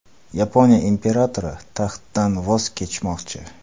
Yaponiya imperatori taxtdan voz kechmoqchi.